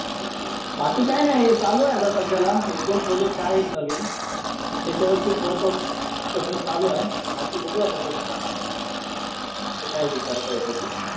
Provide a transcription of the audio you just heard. बाकी काही नाही. चालू आहे आता सध्याला एक-दोन प्रोजेक्ट आहेत नवीन. तर त्याच्यावरतीच वर्क आऊट करणं चालू आहे. बाकी बघू आता. कसं काय हे करता येतं ते.